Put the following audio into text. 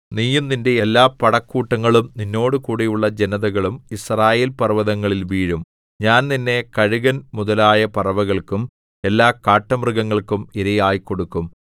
നീയും നിന്റെ എല്ലാ പടക്കൂട്ടങ്ങളും നിന്നോടുകൂടെയുള്ള ജനതകളും യിസ്രായേൽ പർവ്വതങ്ങളിൽ വീഴും ഞാൻ നിന്നെ കഴുകൻ മുതലായ പറവകൾക്കും എല്ലാ കാട്ടുമൃഗങ്ങൾക്കും ഇരയായി കൊടുക്കും